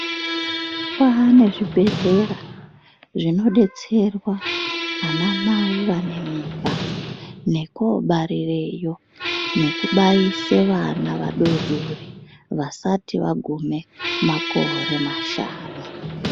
Kwane zvibhehlera zvinodetserwa anamai vane mimba nekobarireyo nekubaise vana vadodori vasati vagume makore mashanu.